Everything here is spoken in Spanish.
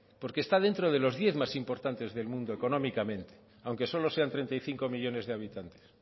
porque está dentro de los diez más importante del mundo económicamente aunque solo sean treinta y cinco millónes de habitantes